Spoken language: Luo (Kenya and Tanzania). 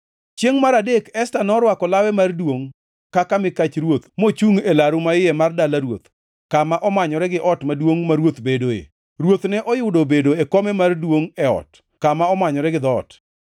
Chiengʼ mar adek Esta norwako lawe mar duongʼ kaka mikach ruoth mochungʼ e laru maiye mar dala ruoth, kama omanyore gi ot maduongʼ ma ruoth bedoe; Ruoth ne oyudo obedo e kome mar duongʼ e ot, kama omanyore gi dhoot.